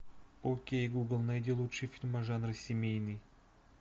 окей гугл найди лучшие фильмы жанра семейный